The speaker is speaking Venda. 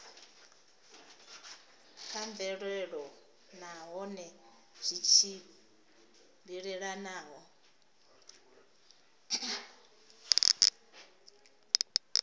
kha mvelelo nahone zwi tshimbilelana